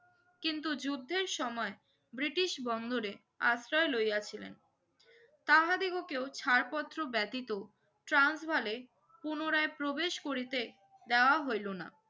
কিন্তু যুদ্ধের সময় ব্রিটিশ বন্দরে আশ্রয় লয়াছিলেন তাহাদিগুকেও ছাড় পত্র ব্যাতিত ট্রান্স বালে পুনরায় প্রবেশ করিতে দেওয়া হইলো না